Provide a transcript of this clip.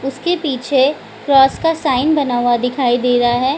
उसके पीछे क्रोस का साइन बना हुआ दिखाई दे रहा है।